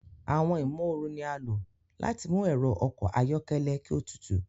Awọn imooru ni a lo láti mú ẹrọ ọkọ ayọkẹlẹ ki o tútù